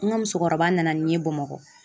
N ka musokɔrɔba nana n ye Bamakɔ.